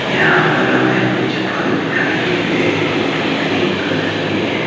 यहां पर हमें कुछ फल दिखाई दे रहे हैं जो कि ग्रीन कलर के है।